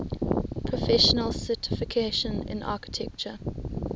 professional certification in architecture